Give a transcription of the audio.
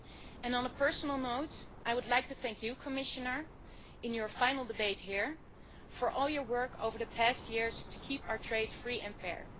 And on a personal note, I would like to thank you, Commissioner, in your final debate here, for all your work over the past years to keep our trade free and fair.